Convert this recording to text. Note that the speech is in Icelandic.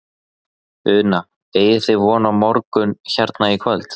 Una: Eigið þið von á morgun hérna í kvöld?